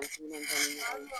I